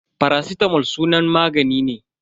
Faracitamol sunan magani ne.